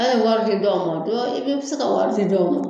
An ye wari di dɔw ma i bɛ bɛ se ka wari di dɔw ma